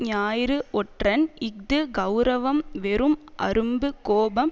ஞாயிறு ஒற்றன் இஃது கெளரவம் வெறும் அரும்பு கோபம்